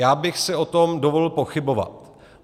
Já bych si o tom dovolil pochybovat.